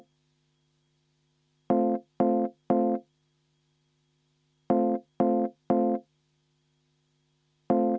Aitäh!